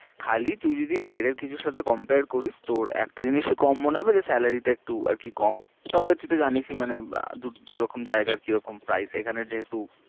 খালি তুই যদি বাইরের কিছুর সাথে compare করিস, তোর একটা জিনিস ই কম মনে হবে যে salary তে একটু আর কি কম তবে তুই তো জেনিস ই মানে দুরকম জায়গার কিরিকম price এখানে যেহেতু